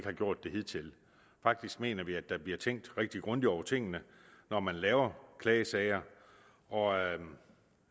har gjort det hidtil faktisk mener vi at der bliver tænkt rigtig grundigt over tingene når man laver klagesager og